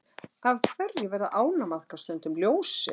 Af hverju verða ánamaðkar stundum ljósir?